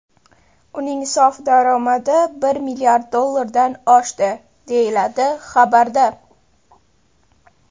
Uning sof daromadi bir milliard dollardan oshdi”, deyiladi xabarda.